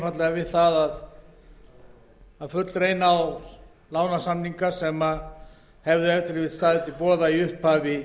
einfaldlega við að fullreyna þá lánasamninga sem ef til vill hefðu staðið til boða í upphafi